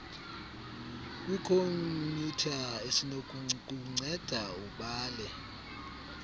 kwikhomyutha esinokukunceda ubale